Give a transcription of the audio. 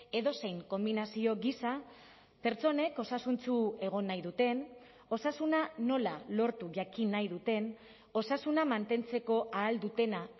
edozein konbinazio gisa pertsonek osasuntsu egon nahi duten osasuna nola lortu jakin nahi duten osasuna mantentzeko ahal dutena